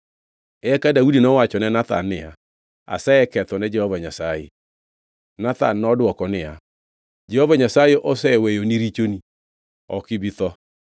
Eka Daudi nowachone Nathan niya, “Asekethone Jehova Nyasaye.” Nathan nodwoko niya, “Jehova Nyasaye oseweyoni richoni. Ok ibi tho.